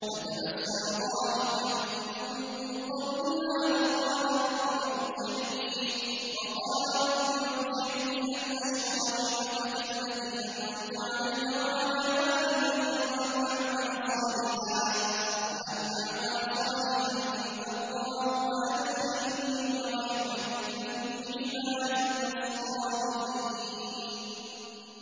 فَتَبَسَّمَ ضَاحِكًا مِّن قَوْلِهَا وَقَالَ رَبِّ أَوْزِعْنِي أَنْ أَشْكُرَ نِعْمَتَكَ الَّتِي أَنْعَمْتَ عَلَيَّ وَعَلَىٰ وَالِدَيَّ وَأَنْ أَعْمَلَ صَالِحًا تَرْضَاهُ وَأَدْخِلْنِي بِرَحْمَتِكَ فِي عِبَادِكَ الصَّالِحِينَ